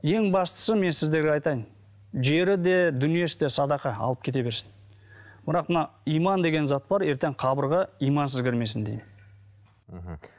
ең бастысы мен сіздерге айтайын жері де дүниесі де садақа алып кете берсін бірақ мына иман деген зат бар ертең қабырға имансыз кірмесін деймін мхм